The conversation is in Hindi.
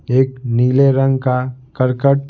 एक नीले रंग का करकट--